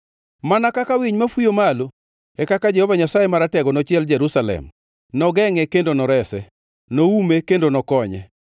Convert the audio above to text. Mana kaka winy mafuyo malo, e kaka Jehova Nyasaye Maratego nochiel Jerusalem; nogengʼe kendo norese, noume kendo nokonye.